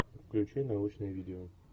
включи научное видео